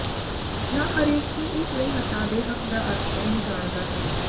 ਨਾ ਹਰੇਕ ਕੀ ਇਸ ਲਈ ਹਟਾ ਦੇ ਹੱਕ ਦਾ ਅਰਥ ਹੈ ਨੂੰ ਜਾਣਦਾ ਹੈ